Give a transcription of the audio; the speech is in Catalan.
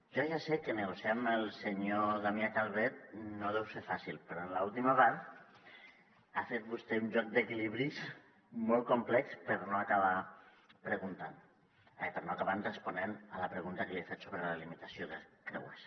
jo ja sé que negociar amb el senyor damià calvet no deu ser fàcil però en l’última part ha fet vostè un joc d’equilibris molt complex per no acabar responent a la pregunta que li he fet sobre la limitació de creuers